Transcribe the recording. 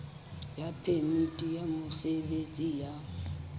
ya phemiti ya mosebetsi ya